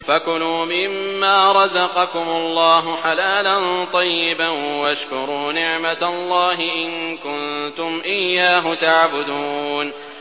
فَكُلُوا مِمَّا رَزَقَكُمُ اللَّهُ حَلَالًا طَيِّبًا وَاشْكُرُوا نِعْمَتَ اللَّهِ إِن كُنتُمْ إِيَّاهُ تَعْبُدُونَ